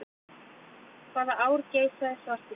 Hvaða ár geisaði svartidauði?